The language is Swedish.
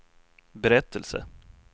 berättelse